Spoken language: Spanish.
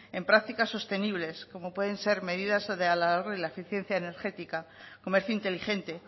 en prácticas sostenibles como pueden ser medidas de ahorro y la eficiencia energética comercio inteligente